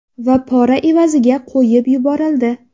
Va pora evaziga qo‘yib yuborildi.